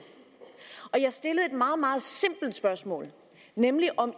jeg stillede et meget meget simpelt spørgsmål nemlig om